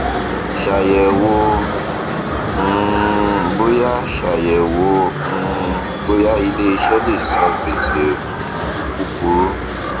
ṣayẹwo um bóyá ṣayẹwo um bóyá iléiṣẹ lè san gbèsè um kúkúrú